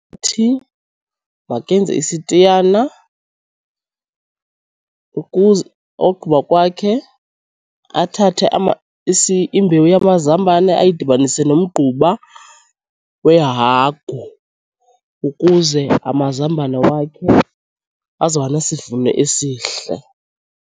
Makenze isitiyana ukuze ogqiba kwakhe athathe imbewu yamazambane ayidibanise nomgquba wehagu ukuze amazambane wakhe azoba nesivuno esihle.